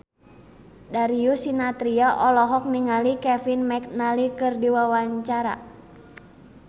Darius Sinathrya olohok ningali Kevin McNally keur diwawancara